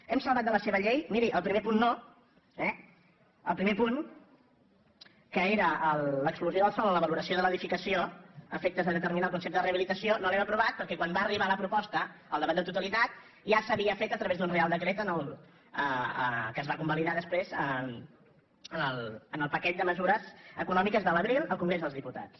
hem salvat de la seva llei miri el primer punt no eh el primer punt que era l’exclusió del sòl en la valoració de l’edificació a efectes de determinar el concepte de reha·bilitació no l’hem aprovat perquè quan va arribar la pro·posta al debat de totalitat ja s’havia fet a través d’un real decret que es va convalidar després en el paquet de mesu·res econòmiques de l’abril al congrés dels diputats